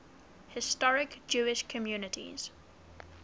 historic jewish communities